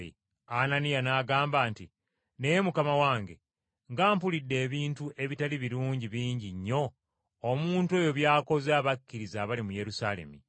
Ananiya n’agamba nti, “Naye Mukama wange, nga mpulidde ebintu ebitali birungi bingi nnyo omuntu oyo by’akoze abakkiriza abali mu Yerusaalemi.